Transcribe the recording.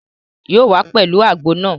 Yóò wá pẹ̀lú àgbo náà